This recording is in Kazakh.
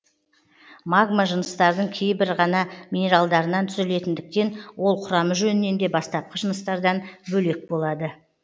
магма жыныстардың кейбір ғана минералдарынан түзілетіндіктен ол құрамы жөнінен де бастапқы жыныстардан бөлек болады